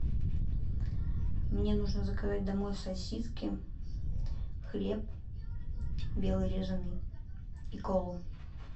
мне нужно заказать домой сосиски хлеб белый резаный и колу